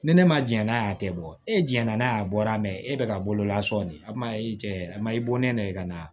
Ni ne ma jɛn n'a y'a tɛ bɔ e jɛnɛna n'a ye a bɔra e bɛ ka bololasɔn de a kuma e cɛ a ma i bɔ ne nɛgɛ ka na